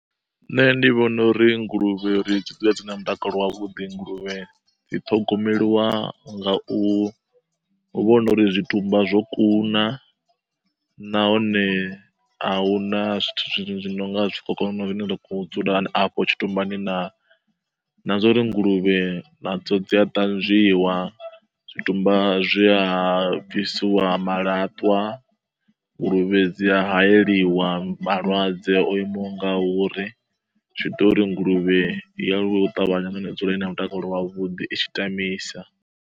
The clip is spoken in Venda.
Nṋe ndi vhona uri nguluvhe uri dzi dzule dzi na mutakalo wavhuḓi, nguluvhe dzi ṱhogomeliwa nga u vhona uri zwitumba zwo kuna nahone a huna zwithu zwi no nga zwikhokhonono zwine zwa kho u dzula afho tshitumbani naa? Na zwa uri nguluvhe nadzo dzi a ṱanzwiwa, zwitumba zwi a bvisiwa malatwa, nguluvhe dzi a haeliwa malwadze o imaho ngauri. Zwi ita uri nguluvhe i aluwe u ṱavhanya nahone i dzule i na mutakalo wavhuḓi i tshi tamisa.